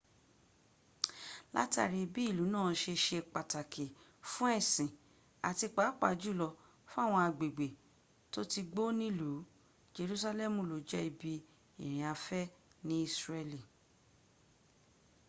látàrí bí ìlú náà se se pàtàkì fún ẹ̀sìn àti pàápàá jùlọ fáwọn agbègbè tó ti gbó níìlú jerusalem ló jẹ́ ibi ìrìnafẹ́ ní isreal